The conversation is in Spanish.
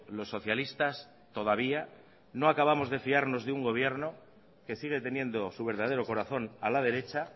los socialistas todavía no acabamos de fiarnos de un gobierno que sigue teniendo su verdadero corazón a la derecha